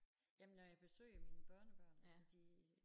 Jamen når jeg besøger mine børnebørn altså de